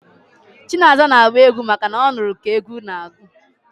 Chinaza n'agba egwu maka na ọ nụrụ ka egwu n'agụ